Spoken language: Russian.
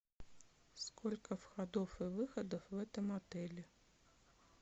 сколько входов и выходов в этом отеле